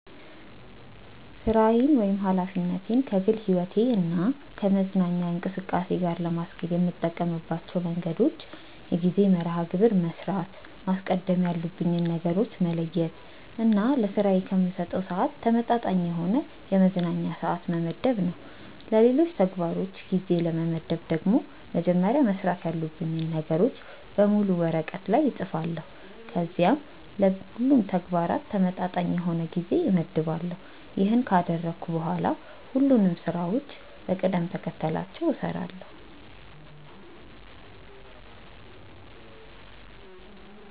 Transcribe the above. ሥራዬን ወይም ኃላፊነቴን ከግል ሕይወቴ እና ከመዝናኛ እንቅስቃሴ ጋር ለማስኬድ የምጠቀምባቸው መንገዶች የጊዜ መርሐ ግብር በመስራት፣ ማስቀደም ያሉብኝን ነገሮች በመለየት እና ለስራዬ ከምሰጠው ስዓት ተመጣጣኝ የሆነ የመዝናኛ ስዓት በመመደብ ነው። ለሌሎች ተግባሮች ጊዜ ለመመደብ ደግሞ መጀመሪያ መስራት ያሉብኝን ነገሮች በሙሉ ወረቀት ላይ እፅፋለሁ ከዚያም ለሁሉም ተግባራት ተመጣጣኝ የሆነ ጊዜ እመድባለሁ። ይሄንን ካደረግኩ በኋላ ሁሉንም ስራዎችን በቅደም ተከተላቸው እሰራለሁ።